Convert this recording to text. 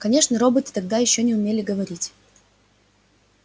конечно роботы тогда ещё не умели говорить